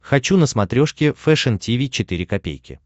хочу на смотрешке фэшн ти ви четыре ка